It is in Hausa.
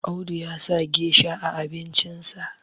Audu ya sa gesha a abincinsa